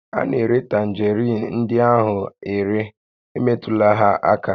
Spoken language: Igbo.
A na-ere tanjeriin ndị ahụ are, emetụla ha aka!